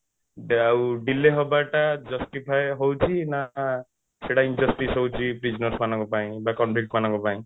ଆଉ delay ହବାଟା justify ହଉଛି ନା ସେଇଟା injustice ହଉଛି ମାନଙ୍କ ପାଇଁ ନା ମାନଙ୍କ ପାଇଁ